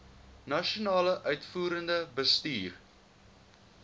nasionale uitvoerende bestuur